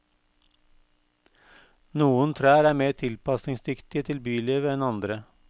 Noen trær er mer tilpasningsdyktige til bylivet enn andre.